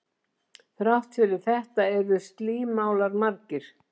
Þrátt fyrir þetta eru slímálar margir.